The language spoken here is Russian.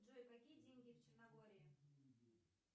джой какие деньги в черногории